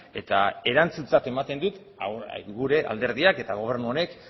eta erantzuntzat ematen dut gure alderdiak eta gobernu honek